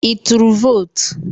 Ị turu votu?